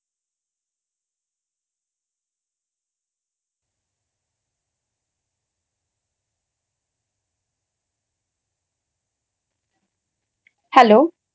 Hello